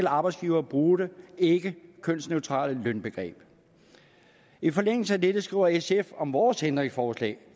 arbejdsgiver bruge det ikkekønsneutrale lønbegreb i forlængelse af dette skriver sf om vores ændringsforslag